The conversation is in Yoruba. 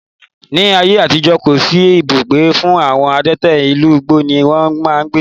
Ní ayé àtijó, kò sí ibùgbé fún àwọn adẹ́tẹ̀, inú igbó ni wón máa ń gbé.